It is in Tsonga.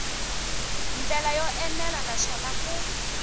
ndlela yo enela naswona ku